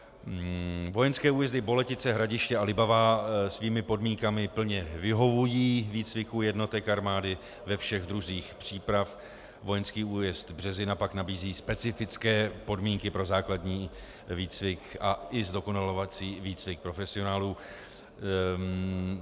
Vojenské újezdy Boletice, Hradiště a Libavá svými podmínkami plně vyhovují výcviku jednotek armády ve všech druzích příprav, vojenský újezd Březina pak nabízí specifické podmínky pro základní výcvik a i zdokonalovací výcvik profesionálů.